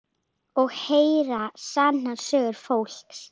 Og heyra sannar sögur fólks.